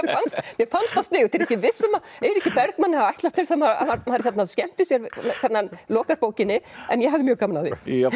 mér fannst það sniðugt ég er ekki viss um að Eiríkur Bergmann hafi ætlast til þess að maður skemmti sér hvernig hann lokar bókinni en ég hafði mjög gaman af því